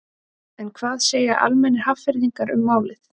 En hvað segja almennir Hafnfirðingar um málið?